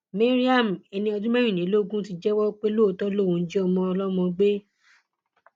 mariam ẹni ọdún mẹrìnlélógún ti jẹwọ pé lóòótọ lòún jí ọmọ ọlọmọ gbé